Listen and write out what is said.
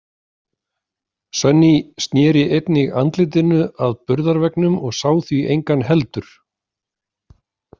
Sunny sneri einnig andlitinu að burðarveggnum og sá því engan heldur.